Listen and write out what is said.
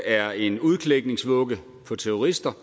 er en udklækningsrede for terrorister